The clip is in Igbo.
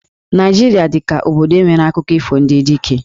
Naịjirịa dị ka obodo nwere akụkọ ifo ndị Dike.